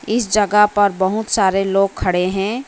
इस जगह पर बहुत सारे लोग खड़े हैं।